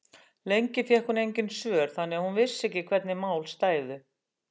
Lengi fékk hún engin svör þannig að hún vissi hvernig mál stæðu.